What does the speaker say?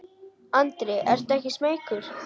Andri: Ertu ekkert smeykur?